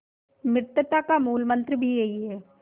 मित्रता का मूलमंत्र भी यही है